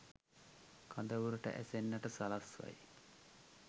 කඳවුරට ඇසෙන්නට සලස්වයි.